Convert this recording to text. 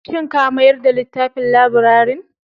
Shin ka mayar da littafin labirarin?